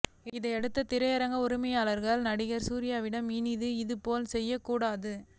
இதையடுத்து திரையரங்க உரிமையாளர்கள் நடிகர் சூர்யாவிடம் இனி இது போல் செய்யக்கூடாது